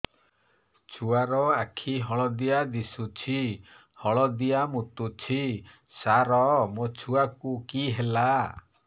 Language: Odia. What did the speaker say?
ଛୁଆ ର ଆଖି ହଳଦିଆ ଦିଶୁଛି ହଳଦିଆ ମୁତୁଛି ସାର ମୋ ଛୁଆକୁ କି ହେଲା